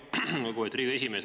Lugupeetud Riigikogu esimees!